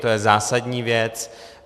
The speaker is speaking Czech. To je zásadní věc.